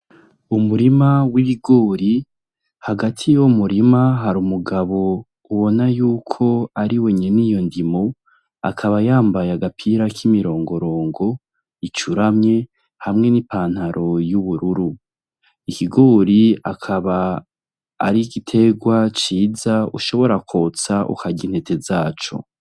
Umurima w’ibigori ,hagati yuwo murima hari Umugabo ubona yuko ariwe nyene iyo ndimo, akaba yambaye agapira k’imirongorongo icuramye hamwe n’ipantaro y’ubururu , Ikigori akaba ari igiterwa ciza ushobora kwotsa ukarya intete zaco.